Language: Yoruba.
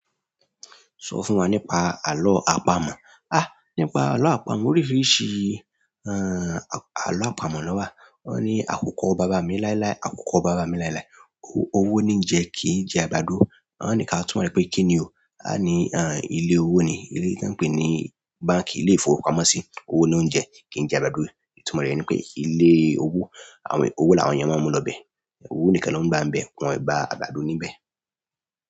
Sọ fún wa nípa àlọ́ àpamọ̀. Nípa àlọ́ àpamọ́ oríṣìrìṣi àlọ́ àpamọ́ lọ wà. Wọ́n ní àkókò bàbá mi láíláí, àkókò bàbá mi láíláí. Owó ni ń jẹ kí n jẹ àgbàdo. Wọ́n ní kí á túmọ̀ rẹ pé kí ni o. A ní ilé owó ni. Ilé tí wọ́n ń pè ní báǹkì, ilé ìfowópamọ́ sì. Owó ló ń jẹ kí n jẹ àgbàdo. Ìtúmọ̀ rẹ̀ ni pé ilé owó, owó làwọn èèyàn máa ń mú lọ bẹ. Owó nìkan ló ń gbà wọn bẹ, wọn e gba àgbàdo ní bẹ.